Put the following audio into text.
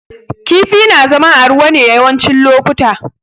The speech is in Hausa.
Kifi na zama a ruwa ne yawancin lokuta